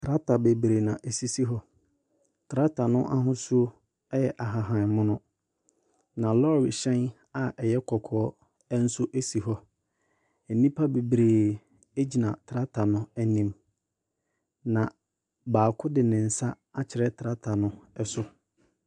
Trakta beberee na esisi hɔ. Trakta no ahosuo ɛyɛ ahahammono. Na lɔre hyɛn a ɛyɛ kɔkɔɔ ɛnso esi hɔ. Nnipa bebree egyina trakta no anim. Na baako de ne nsa akyerɛ trakta no ɛso.